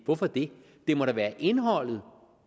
hvorfor det det må da være indholdet